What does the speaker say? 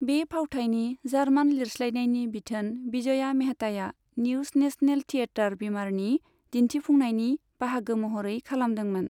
बे फावथायनि जार्मान लिरस्लायनायनि बिथोन विजया मेहताया न्युश नेशनेल थियेटार, वीमारनि दिन्थिफुंनायनि बाहागो महरै खालामदोंमोन।